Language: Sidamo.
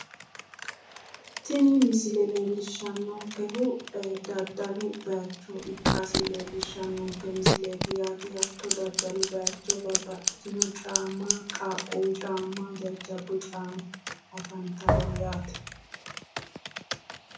Tini misile leellishshannonkehu daddalu bayicho ikkasi leellishshannonke misileeti yaate. Hatto daddalu bayicho babbaxxitino caamma qaaqquwu caamma jajjabbu caamma afantanno yaate.